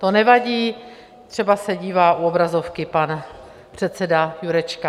To nevadí, třeba se dívá u obrazovky pan předseda Jurečka.